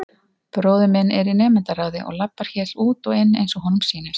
Bróðir minn er í nemendaráði og labbar hér út og inn eins og honum sýnist.